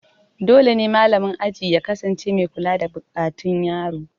Dole ne malamin aji ya kasance mai kula da buƙatun yaro.